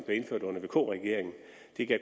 blev indført under vk regeringen